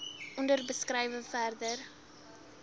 onder beskrywe verder